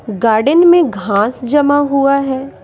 Garden में घांस जमा हुआ है।